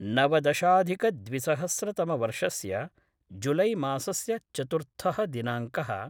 नवदशाधिकद्विसहस्रतमवर्षस्य जुलैमासस्य चतुर्थः दिनांकः